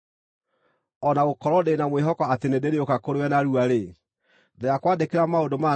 O na gũkorwo ndĩ na mwĩhoko atĩ nĩndĩrĩũka kũrĩ we narua-rĩ, ndĩrakwandĩkĩra maũndũ maya nĩgeetha,